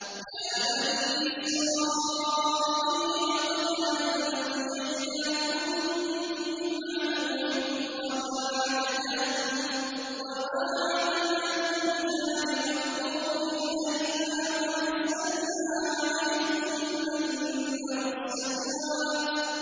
يَا بَنِي إِسْرَائِيلَ قَدْ أَنجَيْنَاكُم مِّنْ عَدُوِّكُمْ وَوَاعَدْنَاكُمْ جَانِبَ الطُّورِ الْأَيْمَنَ وَنَزَّلْنَا عَلَيْكُمُ الْمَنَّ وَالسَّلْوَىٰ